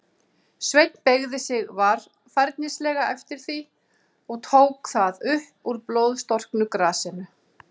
Sveinn beygði sig varfærnislega eftir því, og tók það upp úr blóðstorknu grasinu.